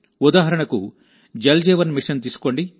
ఉదాహరణకుజల్ జీవన్ మిషన్ను తీసుకోండి